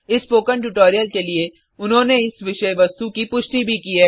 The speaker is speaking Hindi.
इस स्पोकन ट्यूटोरियल के लिए उन्होंने इस विषय वस्तु की पुष्टि भी की है